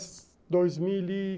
Fiquei dois mil e